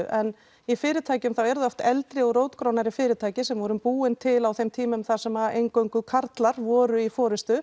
en í fyrirtækjum er það oft eldri og rótgrónari fyrirtæki sem voru búin til á þeim tímum þar sem eingöngu karlmenn voru í